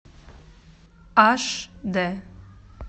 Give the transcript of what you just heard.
аш д